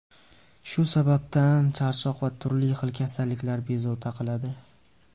Shu sababdan, charchoq va turli xil kasalliklar bezovta qiladi.